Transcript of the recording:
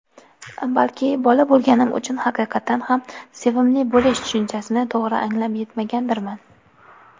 Balki bola bo‘lganim uchun haqiqatdan ham "sevimli bo‘lish" tushunchasini to‘g‘ri anglab yetmagandirman.